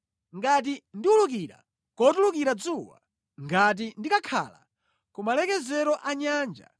Ngati ndiwulukira kotulukira dzuwa, ngati ndikakhala ku malekezero a nyanja,